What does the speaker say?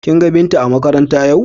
Kin ga Binta a makaranta yau?